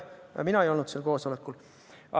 Mina ei olnud seal koosolekul.